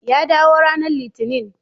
Ya dawo ranar Litinin.